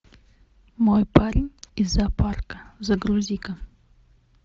мой парень из зоопарка загрузи ка